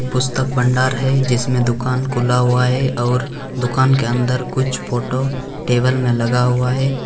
पुस्तक भंडार है जिसमें दुकान खुला हुआ है और दुकान के अंदर कुछ फोटो टेबल में लगा हुआ है।